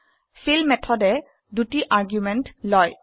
feel মেথডে দুটি argument লয়